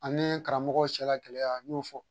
Ani karamɔgɔw cɛla gɛlɛya n y'o fɔ.